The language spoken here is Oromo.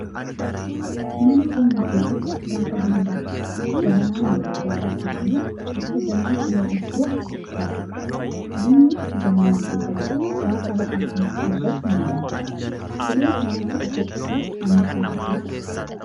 Mana keenya keessatti gaafa buna danfisnu jabanaa mandajaarra keenyee akka jalaan cileen itti ho'u taasifna. Bunni jabanaa keessa jirus gaafa ho'a kana argatu ni danfa. Cileen wantoota ho'isuuf anniisaa guddaa qaba.